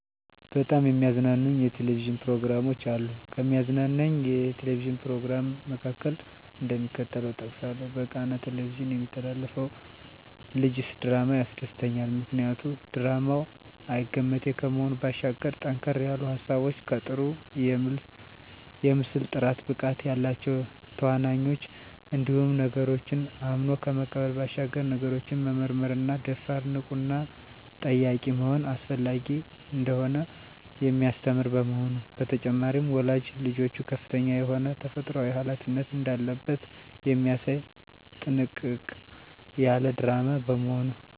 በጣም የሚያዝናኑኝ የ"ቴሌቪዥን" ፕሮግራሞች አሉ፣ ከሚያዝናናኝ የ"ቴሌቪዥን" "ፕሮግራም" መካከል፣ እደሚከተለው እጠቅሳለሁ በቃና "ቴሌቪዥን" የሚተላለፈው ልጀስ ድራማ ያስደስተኛል። ምክንያቱ ድራማው አይገመቴ ከመሆኑ ባሻገር ጠንከር ያሉ ሀሳቦች ከጥሩ የምስል ጥራት፣ ብቃት ያላቸው ተዋናኞች እንዲሁም ነገሮችን አምኖ ከመቀበል ባሻገር ነገሮችን መመርመርና ደፋር፣ ንቁና ጠያቂ መሆን አስፈላጊ እንደሆነ የሚያስተምር በመሆኑ። በተጨማሪም ወላጅ ልጆቹ ከፍተኛ የሆነ ተፈጥሮአዊ ሀላፊነት እንዳለበት የሚያሳይ ጥንቅቅ ያለ ድራማ በመሆኑ።